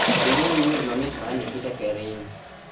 weruru wer mamit mar nikita kering